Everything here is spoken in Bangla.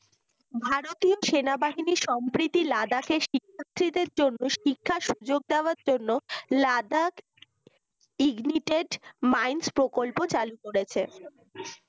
ভারতীয় সেনাবাহিনী সাম্প্রতি লাদাখের শিক্ষার্থীদের জন্য শিক্ষার সুযোগ দেয়ার জন্য লাদাখ Ignetic minds প্রকল্প চালু করেছে